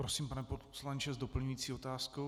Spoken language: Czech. Prosím, pane poslanče, s doplňující otázkou.